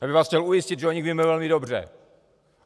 Já bych vás chtěl ujistit, že o nich víme velmi dobře.